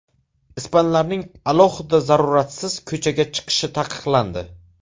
Ispanlarning alohida zaruratsiz ko‘chaga chiqishi taqiqlandi.